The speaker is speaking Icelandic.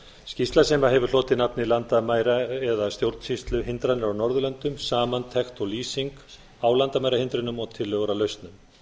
skýrsla sem hefur hlotið nafnið landamæra eða stjórnsýsluhindranir á norðurlöndum samantekt og lýsing á landamærahindrunum og tillögur að lausnum